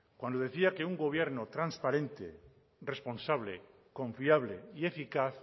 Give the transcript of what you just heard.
cuando decía que un gobierno transparente responsable confiable y eficaz